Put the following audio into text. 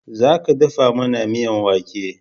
Za ka dafa mana miyan wake!